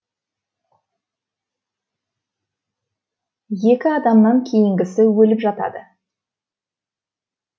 екі адамнан кейінгісі өліп жатады